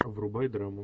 врубай драму